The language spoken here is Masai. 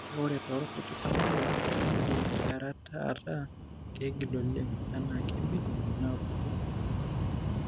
Kake, ore toorkuti tamuoyia, keidim earata ataa keigil oleng enaa kebik inaapuku.